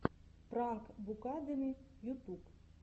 пранк букадеми ютуб